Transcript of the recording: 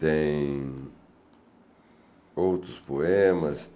Tem outros poemas.